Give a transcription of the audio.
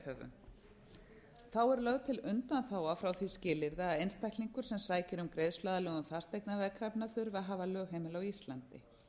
veðhöfum þá er lögð til undanþága frá því skilyrði að einstaklingur sem sækir um greiðsluaðlögun fasteignaveðkrafna þurfi að hafa lögheimili á íslandi